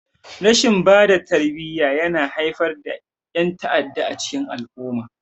Rashin bada tarbiyya yana haifar da yan'ta'adda a cikin al-umma.